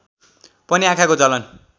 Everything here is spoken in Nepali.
पनि आँखाको जलन